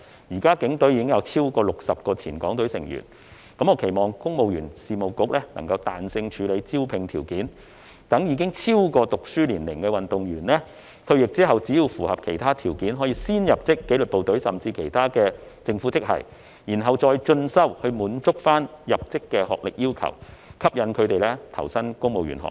現時警隊已有超過60名前港隊成員，我期望公務員事務局能夠彈性處理招聘條件，讓已超過就學年齡的運動員在退役後只要符合其他條件，便可先入職紀律部隊甚或政府其他職系，然後再進修以滿足學歷要求，從而吸引他們投身公務員行列。